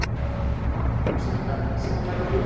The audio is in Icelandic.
Umfangið er mikið.